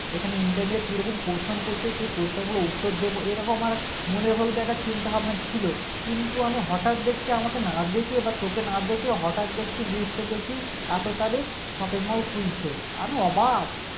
এখানে Interview এ কিরকম question করছে সে question গুলো উত্তর দেব এরকম আমার মনের মধ্যে একটা চিন্তাভাবনা ছিল কিন্তু আমি হটাৎ দেখছি আমাকে না ডেকে বা তোকে না ডেকে হঠাৎ দেখছি list এ দেখি এতো তারিখ Shopping mall খুলছে আমি অবাক